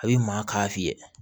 A bɛ maa k'a fiyɛ